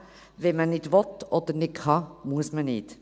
Wenn man nicht will oder nicht kann, muss man nicht.